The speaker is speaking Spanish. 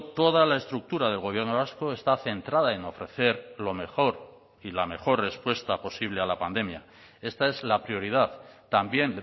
toda la estructura del gobierno vasco está centrada en ofrecer lo mejor y la mejor respuesta posible a la pandemia esta es la prioridad también